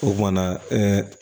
O kumana